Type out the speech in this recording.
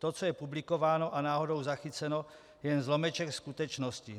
To, co je publikováno a náhodou zachyceno, je jen zlomeček skutečnosti.